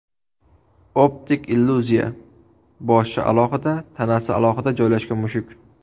Optik illyuziya: boshi alohida, tanasi alohida joylashgan mushuk.